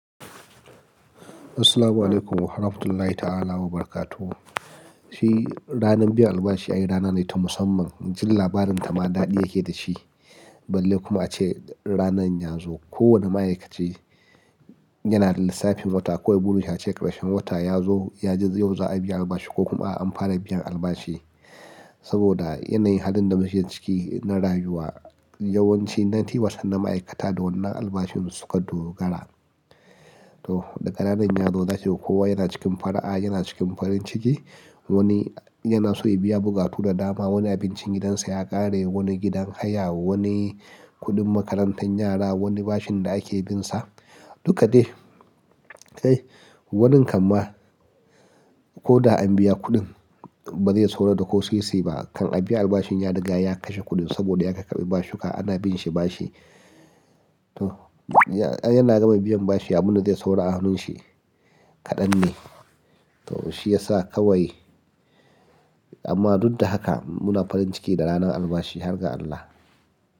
Assalamualaikum warahmatullahi ta'ala wabarakatuh. Shi ranar biyan albashi ayi rana ne ta musamman, jin labarin ta ma daɗi yake dashi. Balle kuma ace ranar yanzu kowane ma'aikaci yana da lissafin wata kawai buri shi ace ƙarshen wata ya zo, yaji yau za a biya albashi ko kuma an fara biyan albashi. Saboda yanayin halin da muke ciki na rayuwa yawanci nineteen wahcernt na ma'aikata da wannan albashin su suka dogara. To daga ranar yazo zaki ga kowa yana cikin fara'a, yana cikin farin ciki, wani yana so ya biya bukatu da dama, wani abincin gidansa ya ƙare, wani gidan haya, wani kuɗin makarantan yara, wani bashin da ake binsa dukka dai. Ai, wani kan ma ko da an biya kuɗin ba zai saura da ko sisi ba kan a biya albashin ƴan riga ya kashe kuɗin saboda ya ƙaƙarbi bashuka ana binshi bashi. To, yana gama biyan bashi abunda zai saura a hannun shi kaɗan ne. To shi ya sa kawai amma duk da haka muna farin ciki da ranar albashi har ga Allah.